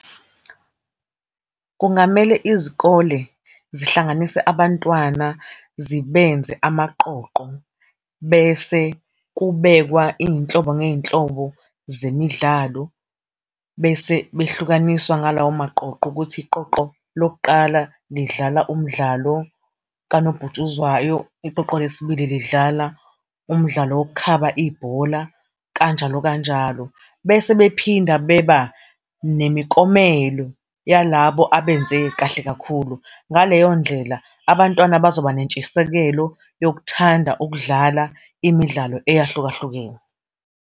Kungamele izikole zihlanganise abantwana, zisebenze amaqoqo, bese kubekwe iy'nhlobo ngey'nhlobo zemidlalo, bese behlukaniswa ngalawo maqoqo, ukuthi iqoqo lokuqala lidlala umdlalo kanobhutshuzwayo, iqoqo lesibili lidlala umdlalo wokukhaba ibhola, kanjalo kanjalo. Bese bephinda beba nemiklomelo yalabo abenze kahle kakhulu. Ngaleyo ndlela abantwana bazoba nentshisekelo yokuthanda ukudlala imidlalo eyahlukahlukene.